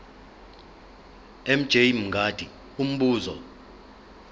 mj mngadi umbuzo